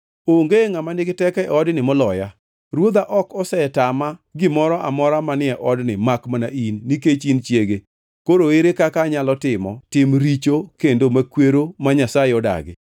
Onge ngʼama nigi teko e odni moloya. Ruodha ok osetama gimoro amora manie odni makmana in, nikech in chiege. Koro ere kaka anyalo timo tim richo kendo makwero ma Nyasaye odagi?”